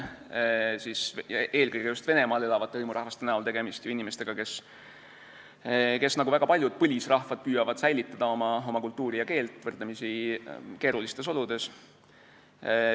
Eelkõige just Venemaal elavad hõimurahvad on ju inimesed, kes nagu väga paljud põlisrahvad püüavad säilitada oma kultuuri ja keelt võrdlemisi keerulistes oludes.